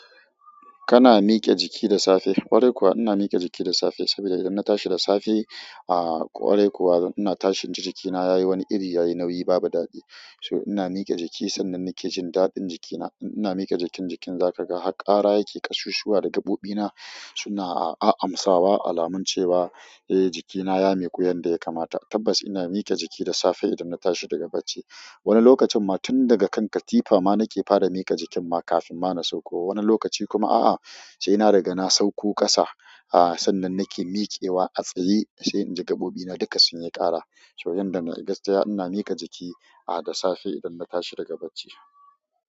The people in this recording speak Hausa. Kana miƙe jiki da safe? Kwarai kuwa ina miƙe jiki da safe saboda idan na tashi da safe ah kwarai kuwa ina tashi inji jikina yayi wani iri yayi nauyi babu daɗi so ina miƙe jiki sannan nake jin daɗin jikina. In ina miƙe jikin jikin za ka ga har ƙara yake kasusuwa da gaɓoɓina suna a-amsawa alamun cewa eh jikina ya miƙu yanda ya kamata. Tabbas ina mike jiki da safe idan na tashi daga bacci. Wani lokacin ma tun daga kan katifa ma nake fara mike jikin ma kafin ma na sauko. Wani lokaci kuma a'a, sai ina riga na sauko ƙasa ah sannan nake mikewa a tsaye sai inji gaɓoɓina duka sun yi ƙara. So yanda na gaskiya ina mike jiki ah da safe idan na tashi daga bacci.